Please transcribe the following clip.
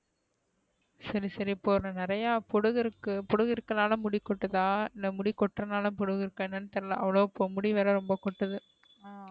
சரி சரி நிறைய பொடுகு இருக்கு போடுக்கு இருக்கான்ல முடி கொட்டுது இல்ல முடி கொற்றநல பொடுகு இருக்க என்னு தெரியல அவ்ளோ வ இப்ப முடி வேற கொட்டுது.